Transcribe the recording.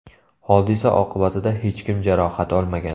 Hodisa oqibatida hech kim jarohat olmagan.